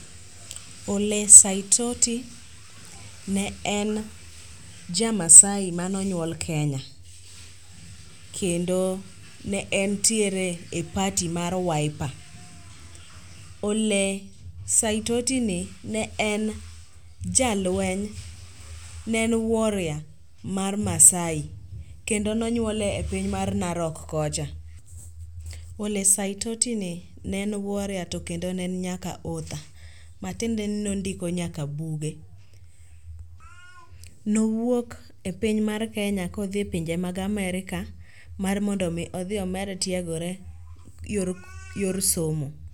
Ole Saitoti ne en jamaasai manonyuol kenya, kendo ne entiere e party mar wiper. Ole Saitotini ne en warrior mar maasai kendo nonyuole e piny mar Narok kocha. Ole Saitotini ne en warrior to kendo ne en nyaka author matiende ni nondiko nyaka buge. Nowuok e piny mar Kenya kodhi e pinje mag Amerka mar mondo omi odhi omed tiegore yor somo.